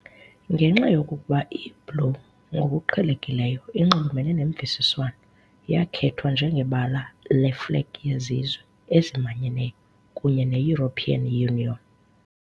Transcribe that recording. Ngenxa yokuba i-blue ngokuqhelekileyo inxulumene nemvisiswano, yakhethwa njengebala leeflegi yeZizwe Ezimanyeneyo kunye neEuropean Union.